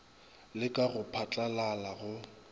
le ka go phatlalala go